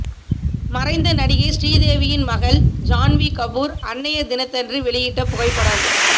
மறைந்த நடிகை ஸ்ரீ தேவியின் மகள் ஜான்வீ கபூர் அன்னையர் தினத்தன்று வெளியிட்ட புகைப்படம்